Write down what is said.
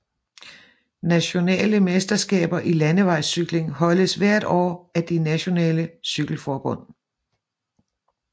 Nationale mesterskaber i landevejscykling holdes hvert år af de nationale cykelforbund